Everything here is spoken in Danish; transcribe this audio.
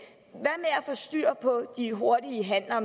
få styr på de hurtige handler og